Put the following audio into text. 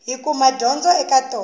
hi kuma dyondzo eka tona